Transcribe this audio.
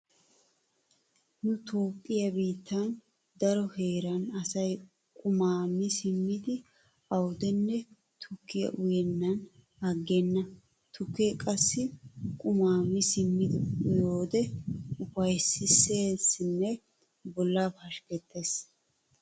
Nu toophphiya biittan daro heeran asay qumaa mi simmidi awudenne tukkiya uyennan aggenna. Tukkee qassi qumaa mi simmidi uyiyode ufaysseesinne bollaa pashkkettees.